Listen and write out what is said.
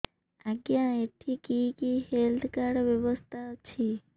ଆଜ୍ଞା ଏଠି କି କି ହେଲ୍ଥ କାର୍ଡ ବ୍ୟବସ୍ଥା ଅଛି